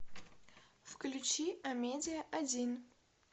включи амедиа один